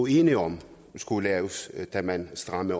enige om skulle laves da man strammede